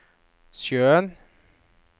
sjøen